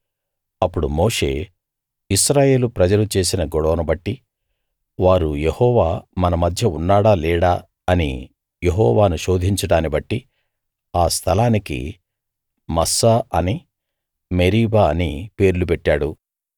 అప్పుడు మోషే ఇశ్రాయేలు ప్రజలు చేసిన గొడవనుబట్టి వారు యెహోవా మన మధ్య ఉన్నాడా లేడా అని యెహోవాను శోధించడాన్నిబట్టి ఆ స్థలానికి మస్సా అనీ మెరీబా అనీ పేర్లు పెట్టాడు